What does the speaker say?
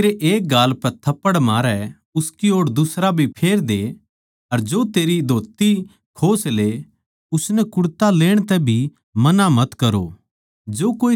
जो तेरै एक गाल पै थप्पड़ मारै उसकी ओड़ दुसरा भी फेर दे अर जो तेरी धोत्ती खोस ले उसनै कुडता लेण तै भी मना मत करो